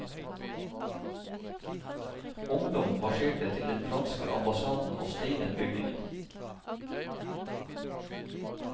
Ungdom marsjerte til den franske ambassaden og steinet bygningen.